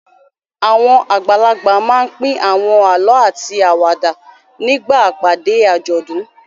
Àwọn àgbàlagbà máa ń pín àwọn àlọ́ àti àwàdà nígbà ìpàdé àjọ̀dún.